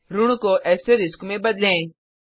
ऋण को एस्टरिस्क में बदलें